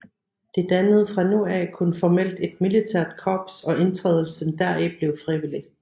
De dannede fra nu af kun formelt et militært korps og indtrædelsen deri blev frivillig